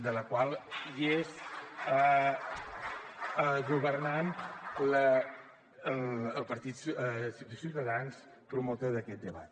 en la qual hi ha governant el partit ciutadans promotor d’aquest debat